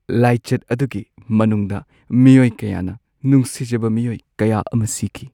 ꯂꯥꯏꯆꯠ ꯑꯗꯨꯒꯤ ꯃꯅꯨꯡꯗ ꯃꯤꯑꯣꯏ ꯀꯌꯥꯅ ꯅꯨꯡꯁꯤꯖꯕ ꯃꯤꯑꯣꯏ ꯀꯌꯥ ꯑꯃ ꯁꯤꯈꯤ꯫